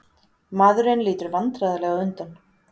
Maðurinn lítur vandræðalega undan.